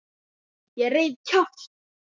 Ég reif kjaft.